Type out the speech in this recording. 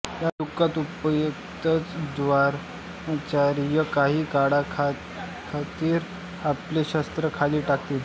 या दुखःउपरांतच द्रोणाचार्य काही काळाखातिर आपले शस्त्र खाली टाकतील